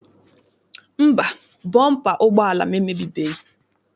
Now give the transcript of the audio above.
Mba, bọmpa ụgbọala m emebibeghị.